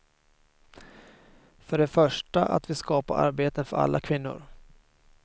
För det första att vi skapar arbeten för alla kvinnor.